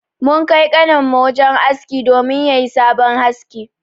Mun Kai kanin mu wajen aski domin yayi sabon haski.